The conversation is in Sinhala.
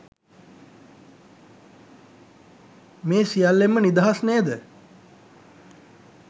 මේ සියල්ලෙන්ම නිදහස් නේද?